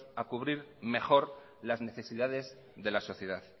a cubrir mejor las necesidades de la sociedad